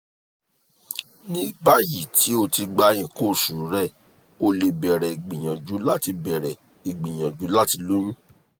ni bayi ti o ti gba ikan oṣu rẹ o le bẹrẹ igbiyanju lati bẹrẹ igbiyanju lati loyun